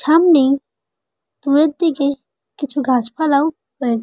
সামনেই দূরের দিকে কিছু গাছপালাও--